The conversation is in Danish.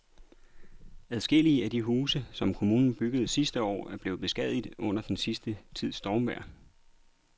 Adskillige af de huse, som kommunen byggede sidste år, er blevet beskadiget under den sidste tids stormvejr.